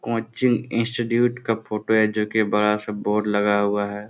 Coaching institute का photo है जो की बड़ा-सा बोर्ड लगा हुआ है।